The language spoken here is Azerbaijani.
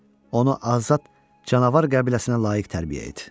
Onu azad canavar qəbiləsinə layiq tərbiyə et.